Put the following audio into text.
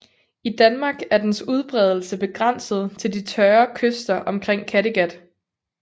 I Danmark er dens udbredelse begrænset til de tørre kyster omkring Kattegat